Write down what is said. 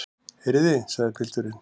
Heyrið þið, sagði pilturinn.